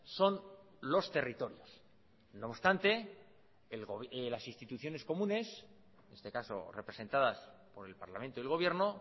son los territorios no obstante las instituciones comunes en este caso representadas por el parlamento del gobierno